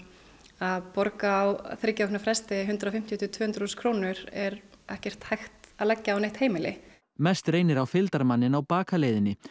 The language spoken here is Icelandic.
að borga á þriggja vikna fresti hundrað og fimmtíu til tvö hundruð þúsund krónur er ekki hægt að leggja á neitt heimili mest reynir á fylgdarmanninn á bakaleiðinni